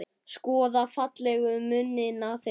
Skoða fallegu munina þeirra.